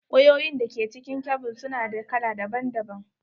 Wayoyin da ke cikin kabel su na da kala daban daban.